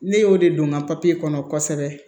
Ne y'o de don n ka kɔnɔ kosɛbɛ